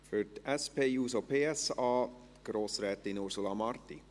Für die SP-JUSO-PSA Grossrätin Ursula Marti.